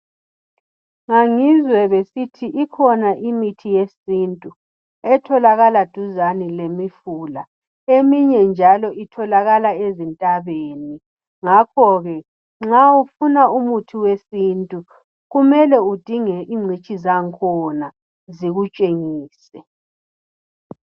ngangizwe besithi ikhona imithi yesintu etholakala duzane lemifula eminye njalo itholakala ezintabeni ngakho ke nxa ufuna umuthi wesintu kumele udinge incitshi zangkhona zikutshengise